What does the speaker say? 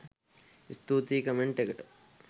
ස්තූතියි කමෙන්ට් එකට